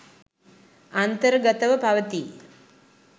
අන්තර්ගතව පවතී.